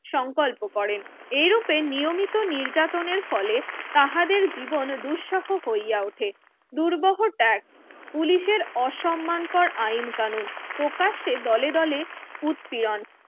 সংকল্প করেন এই রূপে নিয়মিত নির্যাতনের ফলে তাঁহাদের জীবন দুঃসাহ হইয়া উঠে দুর্বোহতাক পুলিশের অসম্মান আইন কানুন প্রকাশ্যে দলে দলে উৎপীয়ন